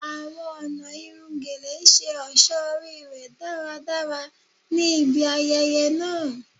Awọn ọna irun Gele ṣe ọṣọ ori rẹ daradara ni ibi ayẹyẹ naa